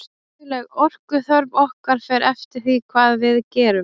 dagleg orkuþörf okkar fer eftir því hvað við gerum